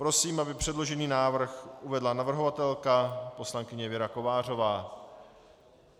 Prosím, aby předložený návrh uvedla navrhovatelka poslankyně Věra Kovářová.